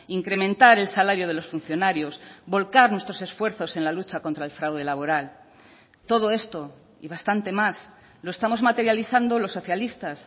incrementar el salario de los funcionarios volcar nuestros esfuerzos en la lucha contra el fraude laboral todo esto y bastante más lo estamos materializando los socialistas